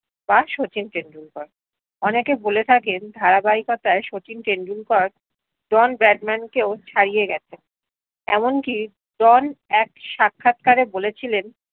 বা শচীন টেন্ডুলকার অনেকে বলে থাকেন ধারাবাহিককতায় শচীন টেন্ডুলকার ডন ব্র্যাডম্যানকেও ছাড়িয়ে গেছে এমন কি ডন এক সাক্ষাৎকার এ বলিছিলেন